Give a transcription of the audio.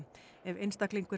ef einstaklingur